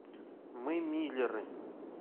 мы миллеры